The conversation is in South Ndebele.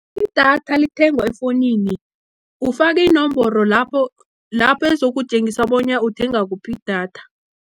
Idatha lithengwa efowunini, ufaka inomboro lapho ezokutjengisa bona uthenga kuphi idatha.